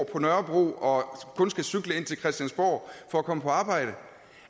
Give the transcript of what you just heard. på nørrebro og kun skal cykle ind til christiansborg for at komme på arbejde